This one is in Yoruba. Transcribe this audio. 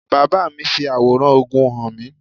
My father showed me the picture of war